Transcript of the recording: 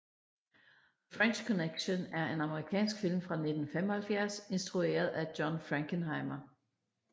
The French Connection er en amerikansk film fra 1975 instrueret af John Frankenheimer